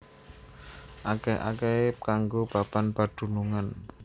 Akèh akèhé kanggo papan padunungan